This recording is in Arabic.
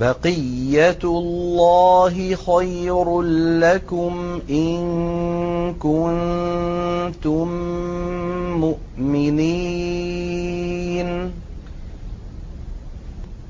بَقِيَّتُ اللَّهِ خَيْرٌ لَّكُمْ إِن كُنتُم مُّؤْمِنِينَ ۚ